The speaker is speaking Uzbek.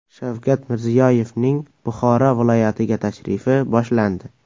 Shavkat Mirziyoyevning Buxoro viloyatiga tashrifi boshlandi.